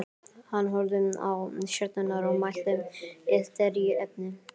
Hann horfði á stjörnurnar og mælti: Illt er í efni.